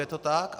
Je to tak.